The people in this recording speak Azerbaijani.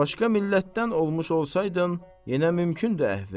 Başqa millətdən olmuş olsaydın, yenə mümkündür əhvin.